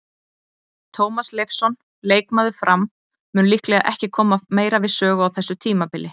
Tómas Leifsson, leikmaður Fram, mun líklega ekki koma meira við sögu á þessu tímabili.